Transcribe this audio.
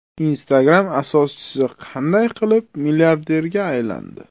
Instagram asoschisi qanday qilib milliarderga aylandi?